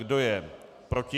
Kdo je proti?